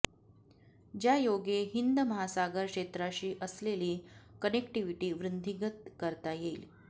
ज्यायोगे हिंद महासागर क्षेत्राशी असलेली कनेक्टीव्हिटी वृद्धिंगत करता येईल